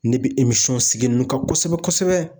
Ne be emisɔn sigi nunnu kan kosɛbɛ kosɛbɛ